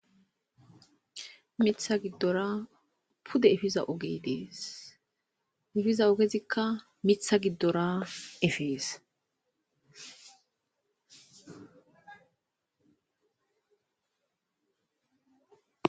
Mitha gidora pude efiza oge de'es efiza ogezika mitha gidora efes .